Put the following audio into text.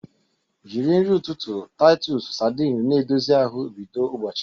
Jiri nri ụtụtụ Titus sardine na-edozi ahụ bido ụbọchị gị.